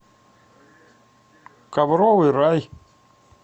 ковровый рай